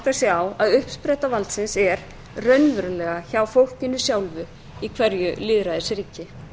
átta sig á að uppspretta valdsins er raunverulega hjá fólkinu sjálfu í hverju lýðræðisríki